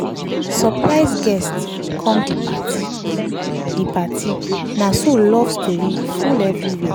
surprise guest come the party the party na so love story full everywhere.